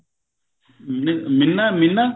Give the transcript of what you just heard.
ਨਹੀਂ ਮਿੰਨਾ ਮਿੰਨਾ